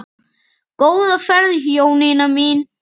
Góða ferð Jónína mín.